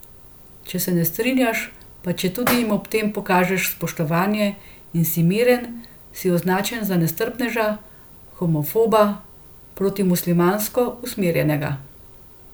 Če se ne strinjaš, pa četudi jim ob tem pokažeš spoštovanje in si miren, si označen za nestrpneža, homofoba, protimuslimansko usmerjenega ...